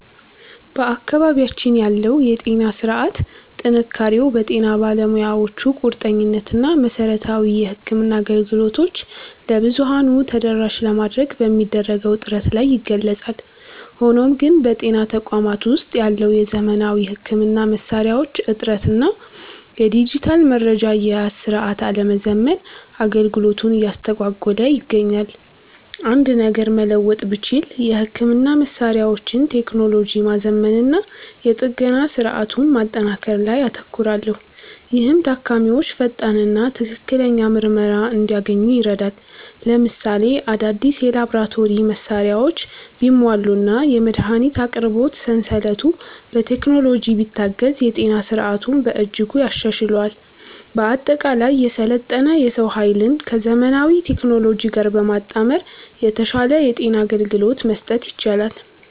በአካባቢያችን ያለው የጤና ሥርዓት ጥንካሬው በጤና ባለሙያዎቹ ቁርጠኝነት እና መሠረታዊ የሕክምና አገልግሎቶችን ለብዙኃኑ ተደራሽ ለማድረግ በሚደረገው ጥረት ላይ ይገለጻል። ሆኖም ግን፣ በጤና ተቋማት ውስጥ ያለው የዘመናዊ ሕክምና መሣሪያዎች እጥረት እና የዲጂታል መረጃ አያያዝ ሥርዓት አለመዘመን አገልግሎቱን እያስተጓጎለ ይገኛል። አንድ ነገር መለወጥ ብችል፣ የሕክምና መሣሪያዎችን ቴክኖሎጂ ማዘመንና የጥገና ሥርዓቱን ማጠናከር ላይ አተኩራለሁ፤ ይህም ታካሚዎች ፈጣንና ትክክለኛ ምርመራ እንዲያገኙ ይረዳል። ለምሳሌ፣ አዳዲስ የላቦራቶሪ መሣሪያዎች ቢሟሉና የመድኃኒት አቅርቦት ሰንሰለቱ በቴክኖሎጂ ቢታገዝ የጤና ሥርዓቱን በእጅጉ ያሻሽለዋል። በአጠቃላይ፣ የሰለጠነ የሰው ኃይልን ከዘመናዊ ቴክኖሎጂ ጋር በማጣመር የተሻለ የጤና አገልግሎት መስጠት ይቻላል።